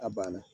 A banna